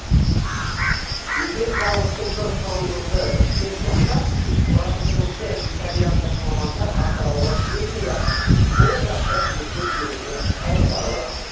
егер зауыттың бір құрылғысы істен шықса құрастырушы итальяндық мамандар атырауға келмей ақ сол жақтан жөндеп беруге қауқарлы